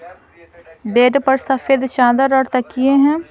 Bed पर सफेद चादर और तकिए हैं।